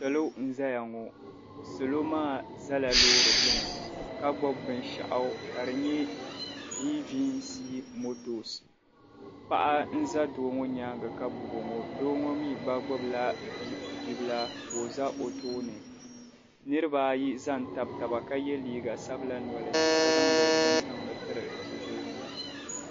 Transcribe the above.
Salo n-zaya ŋo salo maa zala loori gbuni ka gbubi binshɛɣu ka di nye viin viin sii motoos paɣa n-za doo ŋo nyaanga ka gbubi o ŋo doo ŋo mi gba gbubila bi bibila ka o za o tooni niribaa ayi za n-tabi taba ka ye liiga sabila nɔli ka zaŋdi bini tiri bibil' ŋo.